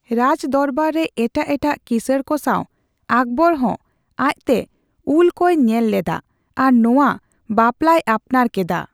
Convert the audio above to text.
ᱨᱟᱡᱫᱚᱨᱵᱟᱨ ᱨᱮ ᱮᱴᱟᱜ ᱮᱴᱟᱜ ᱠᱤᱥᱟᱹᱬ ᱠᱚ ᱥᱟᱣ ᱟᱠᱵᱚᱨ ᱦᱚᱸ ᱟᱡ ᱛᱮ ᱩᱞ ᱠᱚᱭ ᱧᱮᱞ ᱞᱮᱫᱟ ᱟᱨ ᱱᱚᱣᱟ ᱵᱟᱯᱞᱟᱭ ᱟᱯᱱᱟᱨ ᱠᱮᱫᱟ ᱾